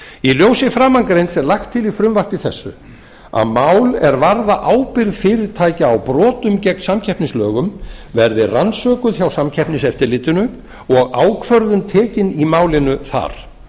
í ljósi framangreinds er lagt til í frumvarpi þessu að mál er varða ábyrgð fyrirtækja á brotum gegn samkeppnislögum verði rannsökuð hjá samkeppniseftirlitinu og ákvörðun tekin í málinu þar